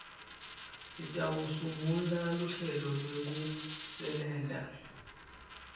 sitawusungula luhlelo lwekusebenta